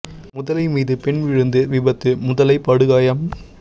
முதலை மீது பெண் விழுந்து விபத்து முதலை படுகாயம்